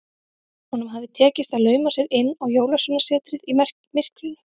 Honum hafði tekist að lauma sér inn á Jólasveinasetrið í myrkrinu.